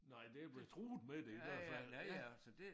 Nej der blevet truet med det i hvert fald ja ja